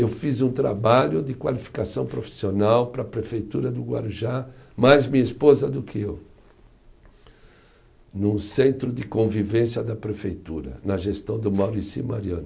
Eu fiz um trabalho de qualificação profissional para a prefeitura do Guarujá, mais minha esposa do que eu, num centro de convivência da prefeitura, na gestão do Maurici Mariano